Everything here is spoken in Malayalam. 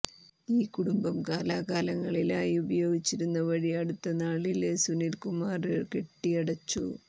ഈ കുടുംബം കാലാകാലങ്ങളായി ഉപയോഗിച്ചിരുന്ന വഴി അടുത്ത നാളില് സുനില് കുമാര് കെട്ടിയടച്ചു